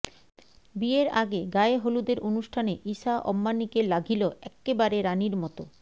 বিয়ের আগে গায়ে হলুদের অনুষ্ঠানে ঈশা অম্বানিকে লাঘিল এক্কেবারে রানির মতো